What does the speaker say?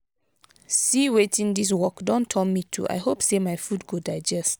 see wetin dis work don turn me to i hope say my food go digest.